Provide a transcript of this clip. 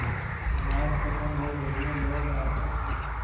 नमाज खत्म हो गई है लोग आपस